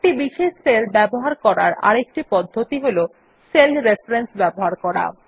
একটি বিশেষ সেল ব্যবহার করার আরেকটি পদ্ধতি হল সেল রেফারেন্স ব্যবহার করা